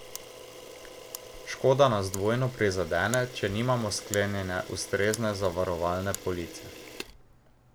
Škoda nas dvojno prizadene, če nimamo sklenjene ustrezne zavarovalne police.